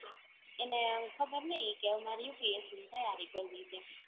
એને ખબર નઇ કે મારે UPSC ની તૈયારી કરવી તી